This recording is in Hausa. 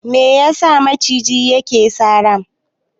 Me yasa maciji yake sara?